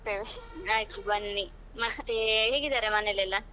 ಆಯ್ತು ಬನ್ನಿ ಮತ್ತೆ ಹೇಗಿದ್ದಾರೆ ಮನೆಯಲ್ಲೆಲ್ಲಾ?